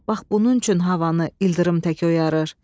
Bax bunun üçün havanı ildırım tək oyarır.